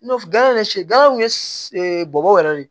N'a fɔ gan yɛrɛ si gan kun ye bamaw yɛrɛ de ye